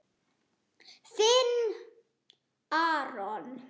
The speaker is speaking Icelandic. Þinn, Aron.